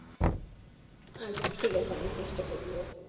আচ্ছা ঠিক আছে আমি চেষ্টা করবো